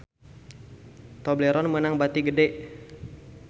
Tobleron meunang bati gede